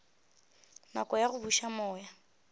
nako ya go buša moya